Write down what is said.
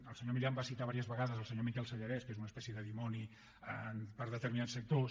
el senyor milián va citar diverses vegades el senyor miquel sellarès que és una espècie de dimoni per a determinats sectors